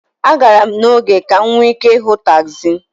A gara m n'oge ka m nwee ike ịhụ tagzi.